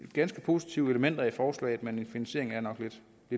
ganske positive elementer i forslaget men finansieringen er nok lidt